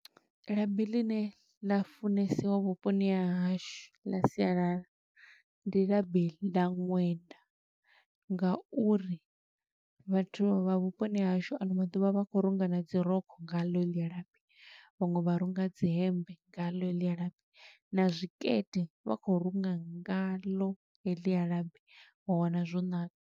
Labi ḽi ne ḽa funesiwa vhuponi ha hashu ḽa sialala, ndi labi ḽa ṅwenda nga uri vhathu vha vhuponi ha hashu ano maḓuvha vha khou runga na dzi rokho nga ḽo helḽia labi. Vhaṅwe vha runga dzi hemmbe nga ḽo heḽia labi, na zwikete vha khou runga nga ḽo heḽia labi, wa wana zwo ṋaka.